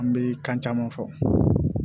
An bɛ kan caman fɔ